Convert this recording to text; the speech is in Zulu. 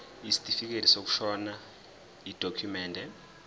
isitifikedi sokushona yidokhumende